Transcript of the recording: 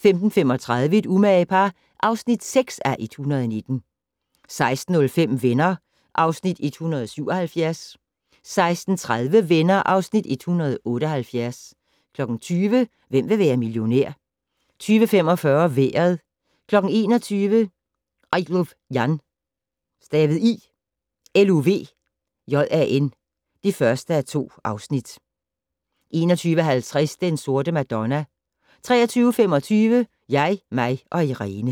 15:35: Et umage par (6:119) 16:05: Venner (Afs. 177) 16:30: Venner (Afs. 178) 20:00: Hvem vil være millionær? 20:45: Vejret 21:00: I Luv Jan (1:2) 21:50: Den Sorte Madonna 23:25: Jeg, mig & Irene